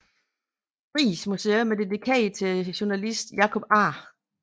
Riis Museum er dedikeret til journalisten Jacob A